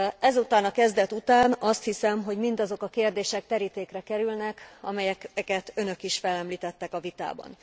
Ezután a kezdet után azt hiszem, hogy mindazok a kérdések terítékre kerülnek, amelyeket önök is felemlítettek a vitában.